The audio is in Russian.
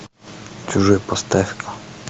чужой поставь